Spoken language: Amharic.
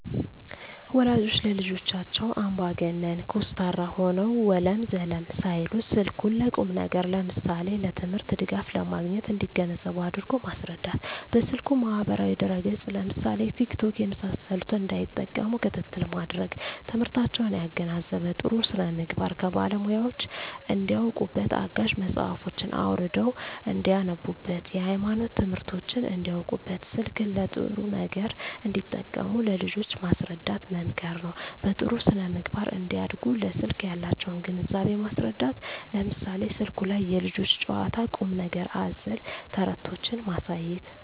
ወላጆች ለልጆቻቸው አምባገነን (ኮስታራ) ሆነው ወለም ዘለም ሳይሉ ስልኩን ለቁም ነገር ለምሳሌ ለትምህርት ድጋፍ ለማግኘት እንዲገነዘቡ አድርጎ ማስረዳት። በስልኩ ማህበራዊ ድረ ገፅ ለምሳሌ ቲክቶክ የመሳሰሉትን እንዳይጠቀሙ ክትትል ማድረግ። ትምህርታቸውን ያገናዘበ , ጥሩ ስነምግባር ከባለሙያወች እንዳውቁበት , አጋዥ መፅሀፎችን አውርደው እንዳነቡብት, የሀይማኖት ትምህርቶችን እንዳውቁበት , ስልክን ለጥሩ ነገር እንዲጠቀሙ ለልጆች ማስረዳት መምከር ነው። በጥሩ ስነ-ምግባር እንዲያድጉ ለስልክ ያላቸውን ግንዛቤ ማስረዳት ለምሳሌ ስልኩ ላይ የልጆች ጨዋታ ቁም ነገር አዘል ተረቶችን ማሳየት